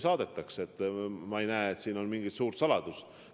Ma ei näe, et siin mingit suurt saladust on.